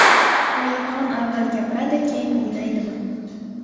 Oyxon avval gapiradi, keyin o‘ylaydimi?